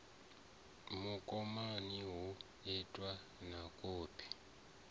mukomani hu itwe na kopi